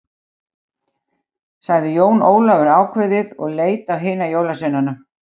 Sagði Jón Ólafur áveðið og leit á hina jólasveinana.